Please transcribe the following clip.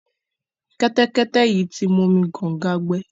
Kẹ́tẹ́kẹ́tẹ́ yìí ti momi kọ̀ǹga gbẹ.